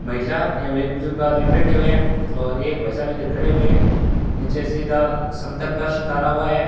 महिला या फिर एक बुजुर्ग आदमी बैठे हुए हैं और एक भाई साहब इधर खड़े हुए हैं नीचे सीधा समतल फर्श डाला हुआ है।